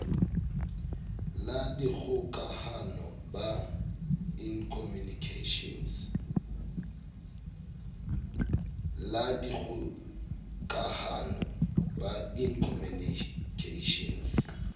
la dikgokahano ba in communications